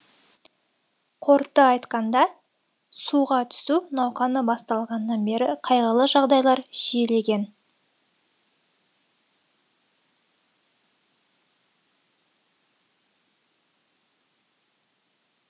қорыта айтқанда суға түсу науқаны басталғаннан бері қайғылы жағдайлар жиілеген